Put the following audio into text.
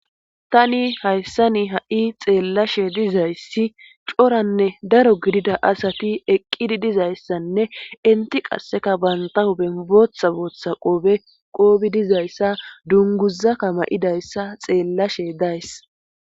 tani hayssa ni ha7i xeellashe dizayssi coranne daro gidida asati eqqidi dizayssanne inti qasseka bantahu ben booththa booththa qoobe qoobi dizayssa dunguzaka ma7idayssa xeellashe dayss